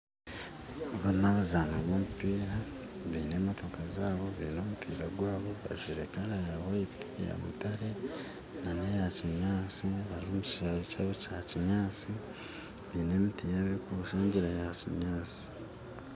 Aba nabaazani b'omumpiira baine emotooka zaabo baine omumpiira gwaabo bajwire kara ya white, eyamutare n'eyakinyaatsi bari omu kishaayi kyaabo kya kinyaatsi baine emiti yaabo erikubashangira yakinyaatsi